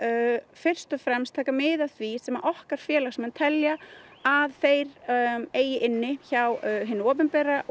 fyrst og fremst taka mið af því sem okkar félagsmenn telja að þeir eigi inni hjá hinu opinbera og